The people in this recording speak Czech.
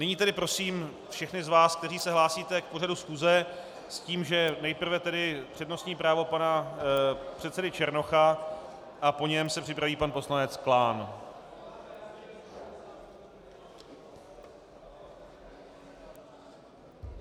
Nyní tedy prosím všechny z vás, kteří se hlásíte k pořadu schůze s tím, že nejprve tedy přednostní právo pana předsedy Černocha a po něm se připraví pan poslanec Klán.